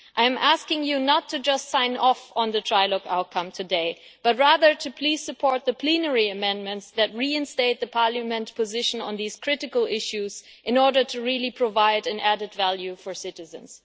I am asking you not to just sign off on the trilogue outcome today but rather to please support the plenary amendments that reinstate the Parliament position on these critical issues, in order to really provide an added value for citizens.